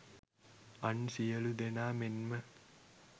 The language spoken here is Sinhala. අන් සියලූ දෙනා මෙන්ම